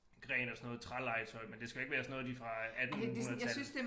Gren af sådan noget trælegetøj men det skal jo ikke være sådan noget lige fra attenhundredetallet